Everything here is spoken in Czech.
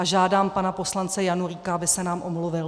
A žádám pana poslance Janulíka, aby se nám omluvil.